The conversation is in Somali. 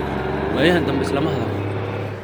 Wayaxan dambe islama hadhalno.